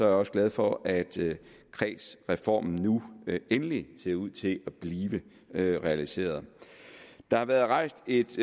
også glad for at kredsreformen nu endelig ser ud til at blive realiseret der har været rejst et